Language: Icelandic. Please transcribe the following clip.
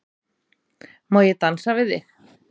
Má ég dansa við þig?